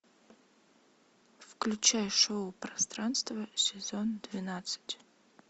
включай шоу пространство сезон двенадцать